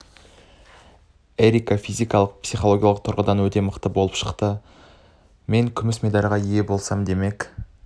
эрика физикалық психологиялық тұрғыдан да өте мықты болып шықты мен күміс медальға ие болсам демек